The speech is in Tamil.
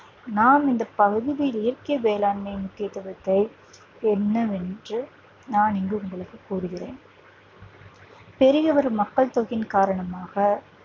நான் இந்த பகுதியில் இயற்கை வேளாண்மையின் முக்கியத்துவத்தை என்னவென்று நான் இங்கு உங்களுக்கு கூறுகிறேன் பெரிய ஒரு மக்கள் தொகையின் காரணமாக